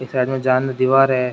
एक साइड मे जान न दीवार है।